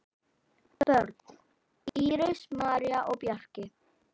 Börn: Íris, María og Bjarki.